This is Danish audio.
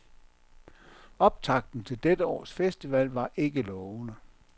Optakten til dette års festival var ikke lovende.